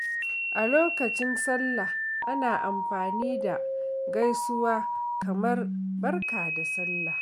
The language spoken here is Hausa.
A lokacin Sallah, ana amfani da gaisuwa kamar “Barka da Sallah.”